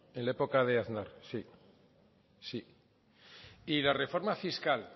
en la época de aznar sí sí y la reforma fiscal